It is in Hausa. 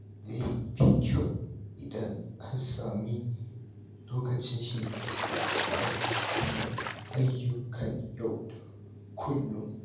Zai fi kyau idan an sami lokacin shan iska bayan kammala ayyukan yau da kullum.